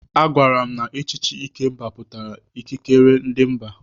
Agwara m na echichi Ikemba pụtara ikikere ndị mba.